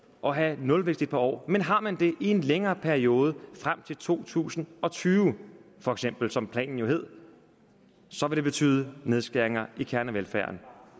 og have nulvækst et par år man har man det i en længere periode frem til to tusind og tyve for eksempel som planen jo lød så vil det betyde nedskæringer i kernevelfærden